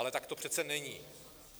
Ale tak to přece není.